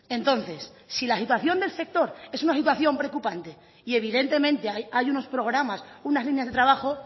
entonces si la situación del sector es una situación preocupante y evidentemente hay unos programas unas líneas de trabajo